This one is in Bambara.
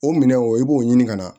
O minɛnw i b'o ɲini ka na